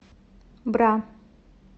бра